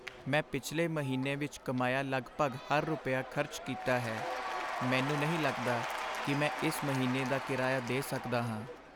ਮੈਂ ਪਿਛਲੇ ਮਹੀਨੇ ਵਿੱਚ ਕਮਾਇਆ ਲਗਭਗ ਹਰ ਰੁਪਿਆ ਖਰਚ ਕੀਤਾ ਹੈ। ਮੈਨੂੰ ਨਹੀਂ ਲੱਗਦਾ ਕਿ ਮੈਂ ਇਸ ਮਹੀਨੇ ਦਾ ਕਿਰਾਇਆ ਦੇ ਸਕਦਾ ਹਾਂ।